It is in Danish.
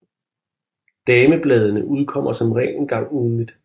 Damebladene udkommer som regel en gang ugentligt